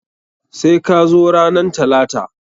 Sai ka zo ranan talata!